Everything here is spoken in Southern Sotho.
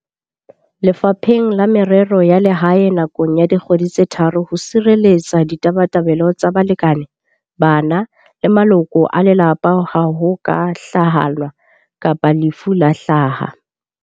Lefapheng la Merero ya Lehae nakong ya dikgwedi tse tharo ho sirelletsa ditabatabelo tsa balekane, bana le maloko a lelapa ha ho ka hlalanwa kapa lefu la hlaha.